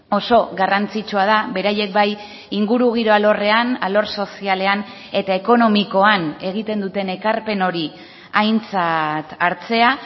oso garrantzitsua da beraiek bai ingurugiro alorrean alor sozialean eta ekonomikoan egiten duten ekarpen hori aintzat hartzea